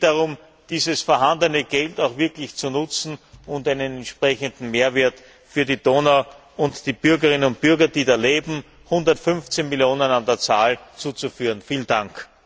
Es geht darum, dieses vorhandene Geld auch wirklich zu nutzen und einen entsprechenden Mehrwert für die Donau und die Bürgerinnen und Bürger, die da leben, 115 Millionen an der Zahl, zu schaffen.